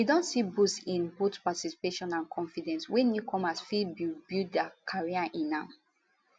e don see boost in both participation and confidence wia newcomers fit build build dia career in mma